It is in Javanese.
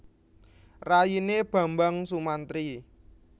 Rayine Bambang Sumantri